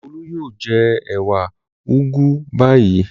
Olú yóò jẹ ewé úgú báyìí.